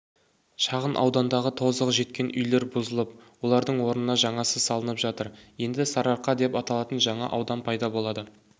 шағын аудандағы тозығы жеткен үйлер бұзылып олардың орнына жаңасы салынып жатыр енді сарырақа деп аталатын жаңа аудан пайда болады